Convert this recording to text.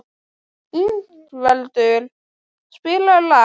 Ingveldur, spilaðu lag.